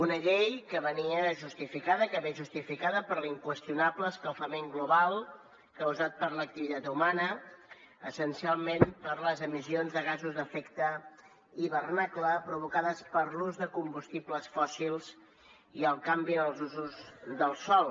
una llei que venia justificada que ve justificada per l’inqüestionable escalfament global causat per l’activitat humana essencialment per les emissions de gasos d’efecte hivernacle provocades per l’ús de combustibles fòssils i el canvi en els usos del sòl